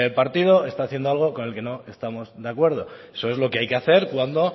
partido está haciendo con lo que no estamos de acuerdo eso es lo que hay que hacer cuando